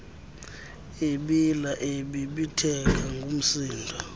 ebila ebibitheka ngumsindo